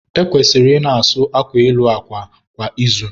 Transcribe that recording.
E kwesịrị ị na-asụ akwa elu akwa kwa izu.